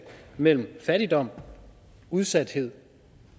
mellem fattigdom udsathed